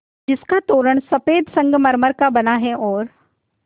जिसका तोरण सफ़ेद संगमरमर का बना है और